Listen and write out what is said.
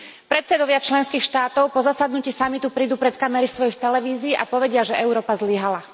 Predsedovia členských štátov po zasadnutí samitu prídu pred kamery svojich televízií a povedia, že Európa zlyhala.